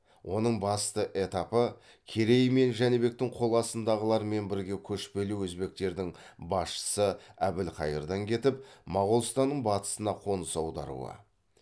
оның басты этапы керей мен жәнібектің қол астындағылармен бірге көшпелі өзбектердің басшысы әбілхайырдан кетіп моғолстанның батысына қоныс аударуы